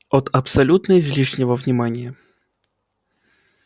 от абсолютно излишнего внимания